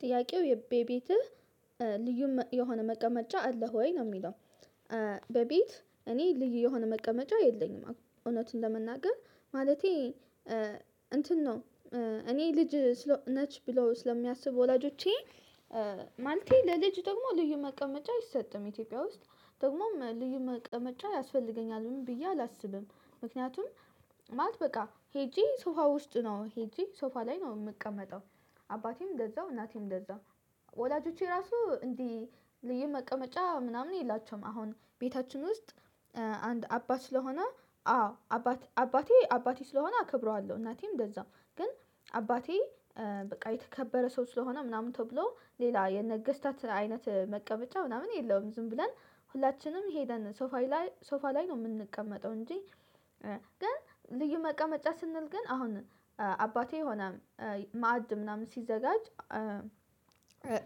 ጥያቄው የቤትህ ልዩ የሆነ መቀመጫ አለህ ወይ ነው የሚለው በቤት እኔ ልዩ የሆነ መቀመጫ የለኝም እውነቱን ለመናገር ማለቴ እንትን ነው እኔ ልጅ ነች ብሎ ስለሚያስቡ ወላጆቼ ማለቴ ለልጅ ደግሞ ልዩ መቀመጫ አይሰጥም ኢትዮጵያ ውስጥ ደግሞም ልዩ መቀመጫ ያስፈልገኛል ብዬ አላስብም ምክንያቱም ማለት በቃ ሄጄ ሶፋ ውስጥ ነው ሄጄ ሶፋ ላይ ነው የምቀመጠው አባቴም እንደዛው እናቴም እንደዛው ወላጆቼ ራሱ እንዲህ ልዩ መቀመጫ ምናምን የላቸውም አሁን ቤታችን ውስጥ አንድ አባት ስለሆነ አዎ አባት አባቴ አባቴ ስለሆነ አከብረዋለሁ እናቴም እንደዛው ግን አባቴ በቃ የተከበረ ሰው ስለሆነ ምናምን ተብሎ ሌላ የነገስታት አይነት መቀበጫ ምናምን የለውም ዝም ብለን ሁላችንም ሄደን ሶፋ ላይ ሶፋ ላይ ነው የምንቀመጠው እንጂ ግን ልዩ መቀመጫ ስንል ግን አሁን አባቴ የሆነ ማዕድ ምናምን ሲዘጋጅ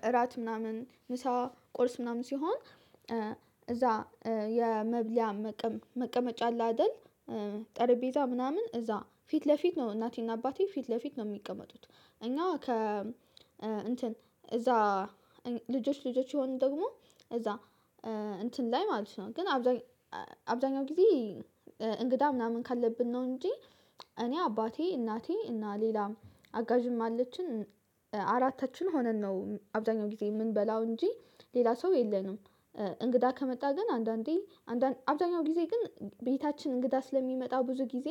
እራት ምናምን ምሳ ቁርስ ምናምን ሲሆን እዛ የመብለያ መቀመጫ አለ አይደል ጠረጴዛ ምናምን እዛ ፊት ለፊት ነው እናቴና አባቴ ፊት ለፊት ነው የሚቀመጡት እኛ ከ እንትን እዛ ልጆች ልጆች የሆኑ ደግሞ እዛ እንትን ላይ ማለት ነው ግን አብዛኛው ጊዜ እንግዳ ምናምን ካለብን ነው እንጂ እኔ አባቴ እናቴ እና ሌላም አጋዥም አለችን አራታችን ሆነን ነው አብዛኛው ጊዜ የምንበላው እንጂ ሌላ ሰው የለንም እንግዳ ከመጣ ግን አንዳንዴ አንዳንድ አብዛኛው ጊዜ ግን ቤታችን እንግዳ ስለሚመጣው ብዙ ጊዜ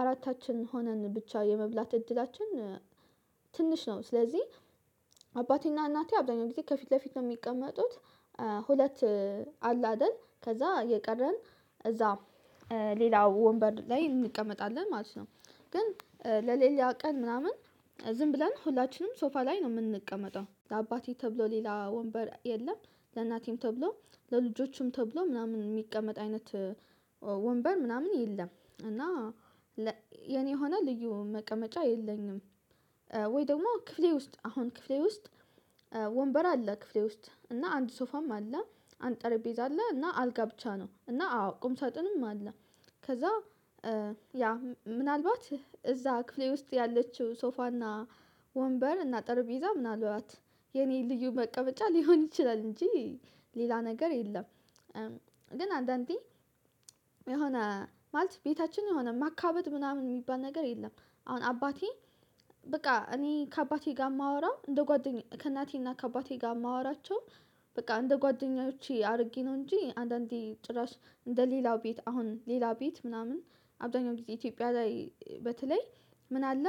አራታችን ሆነን ብቻ የመብላት እድላችን ትንሽ ነው፤ ስለዚህ አባቴና እናቴ አብዛኛው ቤት ከፊት ለፊት ነው የሚቀመጡት ሁለት አለ አይደል ከዛ የቀረን እዛ ሌላው ወንበር ላይ እንቀመጣለን ማለት ነው ግን ለሌላ ቀን ምናምን ዝም ብለን ሁላችንም ሶፋ ላይ ነው የምንቀመጠው፤ ለአባቴ ተብሎ ሌላ ወንበር የለም፤ ለእናቴም ተብሎ ለልጆቹም ተብሎ ምናምን የሚቀመጥ አይነት ወንበር ምናምን የለም እና የኔ የሆነ ልዩ መቀመጫ የለኝም። ወይ ደግሞ ክፍሌ ውስጥ አሁን ክፍሌ ውስጥ ወንበር አለ ክፍሌ ውስጥ እና አንድ ሶፋም አለ አንድ ጠረጴዛ አለ እና አልጋ ብቻ ነው እና አዎ ቁም ሳጥንም አለ ከዛ ያ ምናልባት እዛ ክፍሌ ውስጥ ያለችው ሶፋና ወንበር እና ጠርጴዛ ምናልባት የኔ ልዩ መቀመጫ ሊሆን ይችላል እንጂ ሌላ ነገር የለም ግን አንዳንዴ የሆነ ማለት ቤታችን የሆነ ማካበድ ምናምን የሚባል ነገር የለም አሁን አባቴ በቃ እኔ ከአባቴ ጋር የማወራው እንደ ጓደኛ ከእናቴና ከአባቴ ጋር የማወራቸው በቃ እንደ ጓደኞቼ አድርጌ ነው እንጂ አንዳንዴ ጭራሽ እንደ ሌላው ቤት አሁን ሌላው ቤት ምናምን አብዛኛው ጊዜ ኢትዮጵያ ላይ በተለይ ምን አለ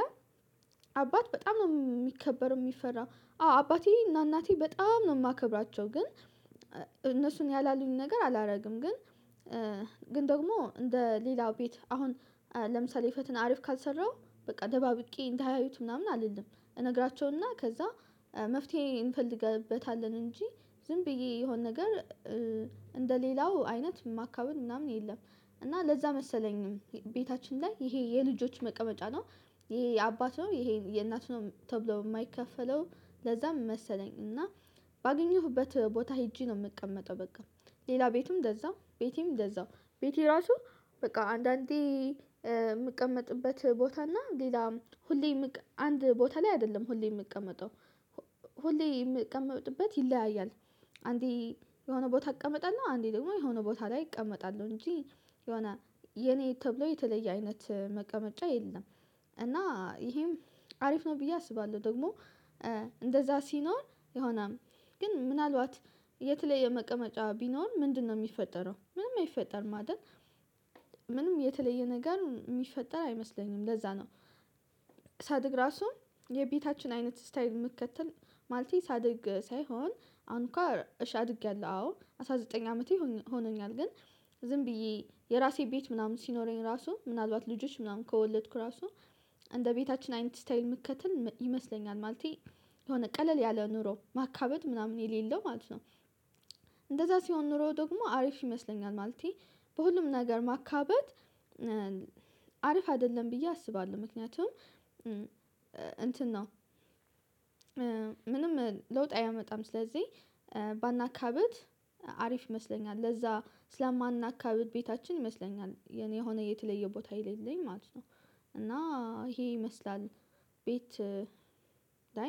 አባት በጣም ነው የሚከበር የሚፈራ አዎ አባቴ እና እናቴ በጣም ነው የማከብራቸው ግን እነሱን ያላሉኝ ነገር አላደርግም ግን ግን ደግሞ እንደ ሌላው ቤት አሁን ለምሳሌ ፈተና አሪፍ ካልሰራሁ በቃ ደባብቄ እንዳያዩት ምናምን አልልም እነግራቸውና ከዛ መፍትሄ እንፈልግበታለን እንጂ ዝም ብዬ የሆነ ነገር እንደ ሌላው አይነት ማካበል ምናምን የለም እና ለዛ መሰለኝም ቤታችን ላይ ይሄ የልጆች መቀመጫ ነው ይሄ የአባትይሄ የእናት ነው ተብሎ የማይከፈለው ለዛም መሰለኝ እና ባገኘሁበት ቦታ ሄጄ ነው የምቀመጠው በቃ ሌላ ቤትም እንደዛው ቤቴም እንደዛው፤ ቤቴ ራሱ በቃ አንዳንዴ የምቀመጥበት ቦታ እና ሌላም ሁሌ አንድ ቦታ ላይ አይደለም ሁሌ የምቀመጠው ሁሌ የምቀመጥበት ይለያያል፤ አንዴ የሆነ ቦታ እቀመጣለሁ አንዴ ደግሞ የሆነ ቦታ ላይ እቀመጣለሁ እንጂ የሆነ የኔ ተብሎ የተለየ አይነት መቀመጫ የለም እና ይሄም አሪፍ ነው ብዬ አስባለሁ ደግሞ እንደዛ ሲኖር የሆነም ግን ምናልባት የት ላይ የመቀመጫ ቢኖር ምንድነው የሚፈጠረው ምንም አይፈጠርም አይደል ምንም የተለየ ነገር የሚፈጠር አይመስለኝም ለዛ ነው ሳድግ ራሱ የቤታችን አይነት ስታይል መከተል ማለት ሳድግ ሳይሆን አሁን እንኳን እሺ አድጌያለሁ አዎ አስራ ዘጠኝ አመቴ ሆኖኛል ግን ዝም ብዬ የራሴ ቤት ምናምን ሲኖረኝ ራሱ ምናልባት ልጆች ምናምን ከወለድኩ ራሱ እንደ ቤታችን አይነት ስታይል ምከተል ይመስለኛል ማለቴ የሆነ ቀለል ያለ ኑሮ ማካበት ምናምን የሌለው ማለት ነው። እንደዛ ሲሆን ኑሮ ደግሞ አሪፍ ይመስለኛል ማለቴ በሁሉም ነገር ማካበት አሪፍ አይደለም ብዬ አስባለሁ ምክንያቱም እንትን ነው ምንም ለውጥ አያመጣም ስለዚህ ባናካብድ አሪፍ ይመስለኛል ለዛ ስለማናካብድ ቤታችን ይመስለኛል የኔ ሆነ የተለየ ቦታ የሌለኝ ማለት ነው እና ይሄ ይመስላል ቤት